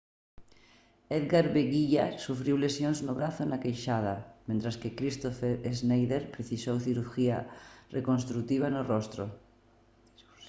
edgar veguilla sufriu lesións no brazo e na queixada mentres que kristoffer schneider precisou cirurxía reconstrutiva no rostro